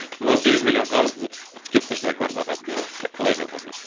он сегіз миллион қарыз деп келіп тұрса квартплатасы мәссаған құдай сақтасын